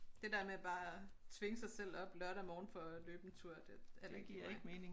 Det der med bare at tvinge sig selv op lørdag morgen for at løbe en tur det heller ikke lige mig